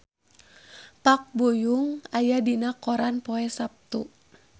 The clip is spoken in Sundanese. Park Bo Yung aya dina koran poe Saptu